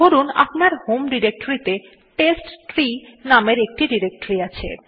ধরুন আপনার হোম ডিরেক্টরীতে টেস্টট্রি নামের একটি ডিরেক্টরী আছে